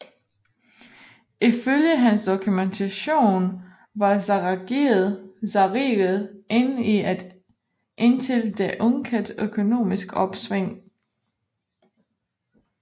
Ifølge hans dokumentation var zarriget inde i et indtil da ukendt økonomisk opsving